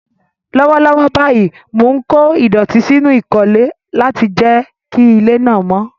Lọ́wọ́lọ́wọ́ báyìí, mò ń kó ìdọ̀tí sínú ìkólẹ̀ láti jẹ́ kí ilé náà mọ́.